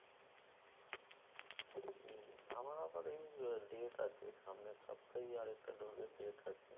উম আমার আবার এই আহ date আছে। সামনের সপ্তাহেই আরেকটা dose এর date আছে।